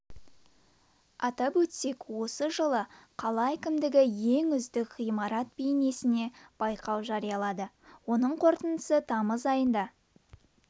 атап өтсек осы жылы қала әкімдігі ең үздік ғимарат бейнесіне байқау жариялады оның қортындысы тамыз айында